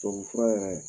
Tubabufura yɛrɛ